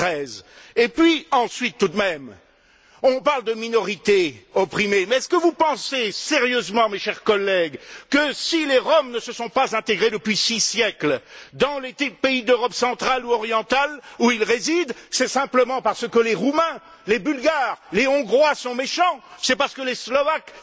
2013. Et puis, ensuite, tout de même, on parle de minorité opprimée, mais est ce que vous pensez sérieusement, mes chers collègues, que si les Roms ne se sont pas intégrés depuis six siècles dans les pays d'Europe centrale ou orientale, où ils résident, c'est simplement parce que les Roumains, les Bulgares, les Hongrois, sont méchants, c'est parce les Slovaques,